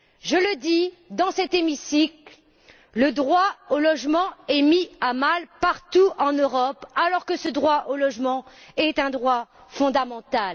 Je le dis dans cet hémicycle, le droit au logement est mis à mal partout en Europe alors que ce droit au logement est un droit fondamental.